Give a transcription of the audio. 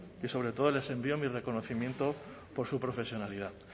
y sobre todo les envío mi reconocimiento por su profesionalidad